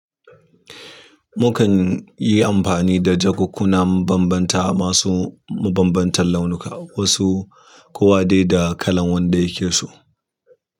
Mukan, yi amfani da jakukunan banbanta ma su mabanbantan launuka, wasu kowa dai da kalan wanda yake so.